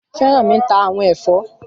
Fẹ́rànmi ń ta àwọn ẹ̀fọ́